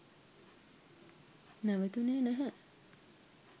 නැවතුනේ නැහැ.